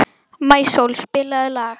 Maísól, spilaðu lag.